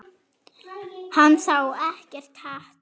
Hann sá ekkert hatur.